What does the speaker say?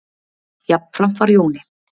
Jafnframt var Jóni